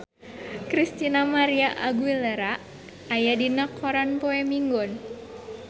Christina María Aguilera aya dina koran poe Minggon